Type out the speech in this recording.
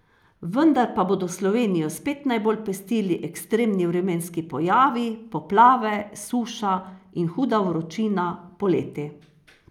Vendar pa bodo Slovenijo spet najbolj pestili ekstremni vremenski pojavi, poplave, suša in huda vročina poleti.